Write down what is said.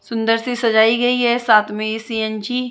सुंदर से सजाई गई है साथ में ये सी_एन_जी --